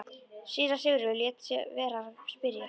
Síra Sigurður lét vera að spyrja.